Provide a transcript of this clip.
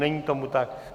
Není tomu tak.